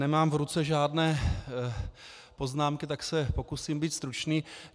Nemám v ruce žádné poznámky, tak se pokusím být stručný.